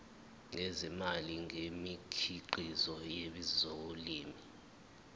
ngezimali ngemikhiqizo yezolimo